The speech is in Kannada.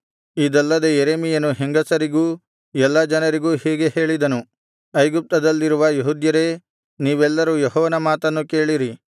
ಇದಲ್ಲದೆ ಯೆರೆಮೀಯನು ಹೆಂಗಸರಿಗೂ ಎಲ್ಲಾ ಜನರಿಗೂ ಹೀಗೆ ಹೇಳಿದನು ಐಗುಪ್ತದಲ್ಲಿರುವ ಯೆಹೂದ್ಯರೇ ನೀವೆಲ್ಲರೂ ಯೆಹೋವನ ಮಾತನ್ನು ಕೇಳಿರಿ